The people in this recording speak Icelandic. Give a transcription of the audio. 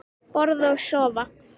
Borða og sofa.